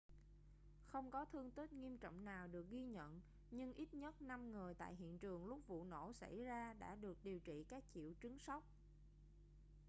không có thương tích nghiêm trọng nào được ghi nhận nhưng ít nhất năm người tại hiện trường lúc vụ nổ xảy ra đã được điều trị các triệu chứng sốc